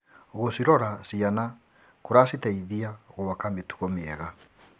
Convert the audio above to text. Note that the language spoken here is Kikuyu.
Gũcirora ciana kũraciteithia gwaka mĩtugo mĩega.